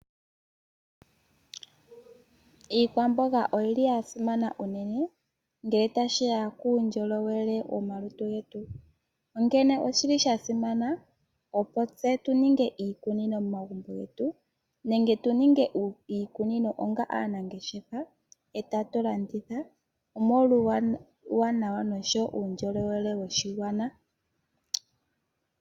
Iikwamboga oyili ya simana unene ngele tashiya uundjolowele womalutu getu. Onkene oshili sha simana opo tse tuninge iikunino momagumbo getu, nenge tuninge iikunino onga aanangeshefa etatu landitha omolwa uuwanawa noshowo uundjolowele woshigwana.